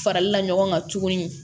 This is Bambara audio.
Faralila ɲɔgɔn kan tuguni